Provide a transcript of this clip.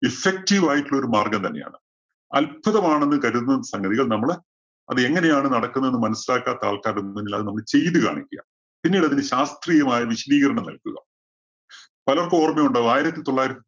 effective ആയിട്ടുള്ള ഒരു മാര്‍ഗ്ഗം തന്നെയാണ്. അത്ഭുതമാണെന്ന് കരുതുന്ന സംഗതികള്‍ നമ്മള് അത് എങ്ങനെയാണ് നടക്കുന്നതെന്ന് മനസിലാക്കാത്ത ആള്‍ക്കാരുടെ മുമ്പില്‍ നമ്മളത് ചെയ്തു കാണിക്കുക. പിന്നീട് അതിന് ശാസ്ത്രീയമായ വിശദീകരണം നല്‍കുക. പലര്‍ക്കും ഓര്‍മ്മയുണ്ടാവും ആയിരത്തി തൊള്ളായിരത്തി